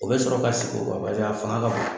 O bɛ sɔrɔ ka sigi o kan a fanga ka bon